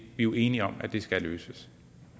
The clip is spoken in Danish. jo enige om at det skal løses